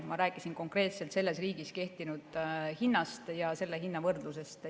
Ma rääkisin konkreetselt selles riigis kehtinud hinnast ja selle hinna võrdlusest.